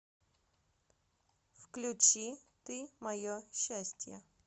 включи ты мое счастье